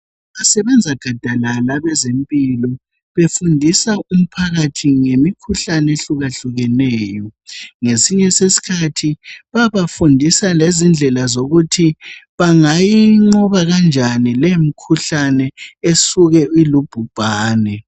Basebenza gadalala abezempilo besindisa umphakathi ngemikhuhlane ehlukahlukeneyo .Ngesinye sesikhathi bayabafundisa lendlela zokuthi bangayinqoba kanjani leyo mikhuhlane esuke ilubhubhane.